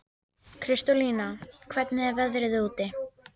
Kristólína, hvernig er veðrið úti?